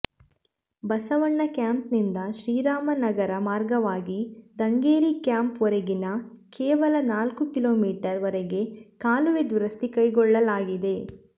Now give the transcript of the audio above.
ಬಸವಣ್ಣ ಕ್ಯಾಂಪಿನಿಂದ ಶ್ರೀರಾಮನಗರ ಮಾರ್ಗವಾಗಿ ದಂಗೇರಿಕ್ಯಾಂಪ್ ವರೆಗಿನ ಕೇವಲ ನಾಲ್ಕು ಕಿಲೋ ಮೀಟರ್ ವರೆಗೆ ಕಾಲುವೆ ದುರಸ್ತಿ ಕೈಗೊಳ್ಳಲಾಗಿದೆ